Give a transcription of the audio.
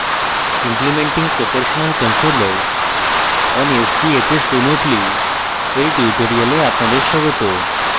implementing proportional controller on sbhs remotely এর tutorial আপনাদের স্বাগত